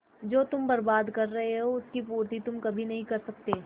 जो तुम बर्बाद कर रहे हो उसकी पूर्ति तुम कभी नहीं कर सकते